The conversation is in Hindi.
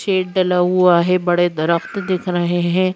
शेड डला हुआ है बड़े दरख्त दिख रहे हैं ।